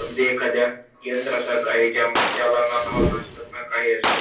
अगदी एखादा यंत्रासारखा आहे ज्या ज्याला ना भावना असतात, ना काही असतं.